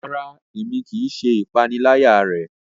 Rara, Èmí kìí ṣe ìpaniláyà rẹ